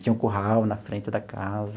Tinha um curral na frente da casa.